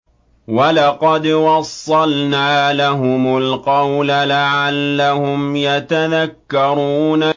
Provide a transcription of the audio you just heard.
۞ وَلَقَدْ وَصَّلْنَا لَهُمُ الْقَوْلَ لَعَلَّهُمْ يَتَذَكَّرُونَ